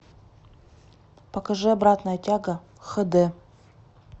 покажи обратная тяга хэ дэ